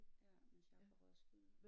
Ja mens jeg er på Roskilde